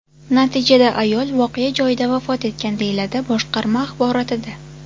Natijada ayol voqea joyida vafot etgan”, deyiladi boshqarma axborotida.